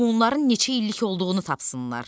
bunların neçə illik olduğunu tapsınlar.